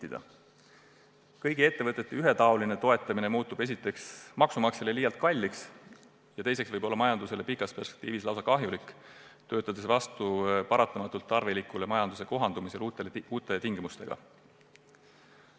Esiteks läheb kõigi ettevõtete ühetaoline toetamine maksumaksjale liialt kalliks ja teiseks võib see majandusele pikas perspektiivis lausa kahjulik olla, kuna töötab vastu paratamatult tarvilikule majanduse kohanemisele uute tingimustega.